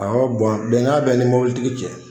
Awɔ bɔn bɛnkan bɛ ni mobilitigi cɛ.